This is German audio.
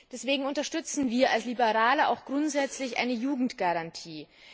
Deswegen unterstützen wir als Liberale auch grundsätzlich eine Jugendgarantie.